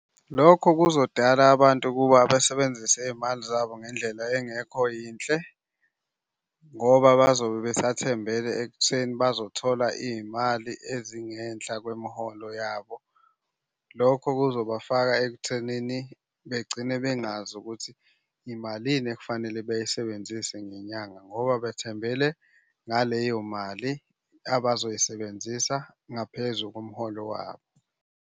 Lokho kuzodala abantu ukuba basebenzise iy'mali zabo ngendlela engekho yinhle, ngoba bazobe besathembele ekutheni bazothola iy'mali ezingenhla kwemiholo yabo. Lokho kuzobafaka ekuthenini begcine bengazi ukuthi imalini ekufanele beyisebenzise ngenyanga ngoba bthembele ngaleyo mali abazoyisebenzisa ngaphezu komholo wabo.